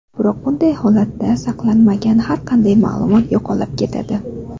Biroq, bunday holatda saqlanmagan har qanday ma’lumot yo‘qolib ketadi.